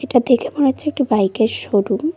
এটা দেখে মনে হচ্ছে একটি বাইক -এর শোরুম ।